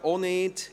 – Auch nicht.